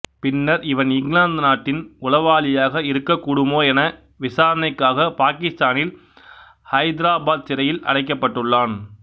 பின்னர் இவன் இங்கிலாந்து நாட்டின் உளவாளியாக இருக்கக்கூடுமோ என விசாரணைக்காக பாகிஸ்தானின் ஹைதிராபாத் சிறையில் அடைக்கப்பட்டுள்ளான்